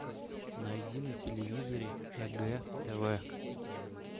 найди на телевизоре егэ тв